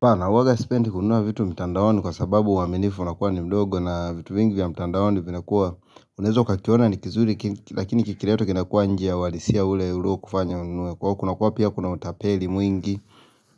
Na uwanga sipendi kununua vitu mtandaoni kwa sababu uwaminifu unakuwa ni mdogo na vitu mingi vya mtandaoni vinakuwa unaweza ukakiona ni kizuri lakini kikiletwa kinakua inje ya uwalisia ule uliokufanya ununue kuwa kuna pia kuna utapeli mwingi